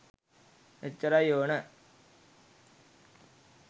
එච්චරයි ඕන